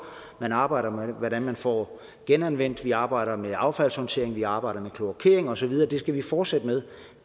man arbejder med hvordan man får genanvendt affaldet man arbejder med affaldshåndtering man arbejder med kloakering og så videre og det skal vi fortsætte med